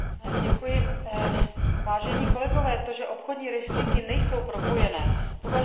To, že obchodní rejstříky nejsou propojené, považuji za selhání koordinační úlohy Komise.